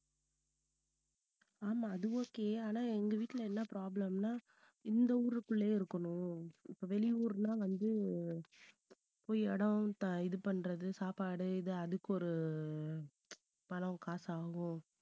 ஆமா அது okay ஆனா எங்க வீட்டுல என்ன problem ன்னா இந்த ஊருக்குள்ளேயே இருக்கணும். வெளியூருன்னா வந்து போயி இடம் த~ இது பண்றது சாப்பாடு இது அதுக்கு ஒரு பணம் காசு ஆகும்.